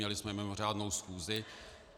Měli jsme mimořádnou schůzi.